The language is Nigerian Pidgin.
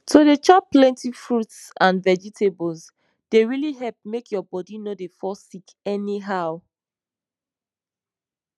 to dey chop plenty fruits and vegetables dey really help make your bodi no dey fall sick anyhow